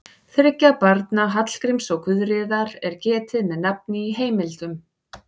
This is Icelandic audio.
Þriggja barna Hallgríms og Guðríðar er getið með nafni í heimildum.